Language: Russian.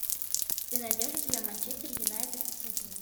ты найдешь у себя манчестер юнайтед сити